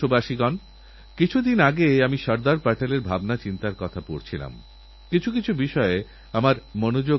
আপনারা আমাকে নরেন্দ্রমোদীঅ্যাপএ খেলোয়োড়দের নামে শুভেচ্ছা পাঠান আমি সেই শুভেচ্ছাবার্তা তাঁদের কাছেপৌঁছে দেব